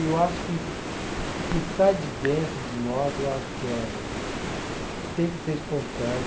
E eu acho que o que sai de dentro de nós, eu acho que é. Tem que ser espontâneo.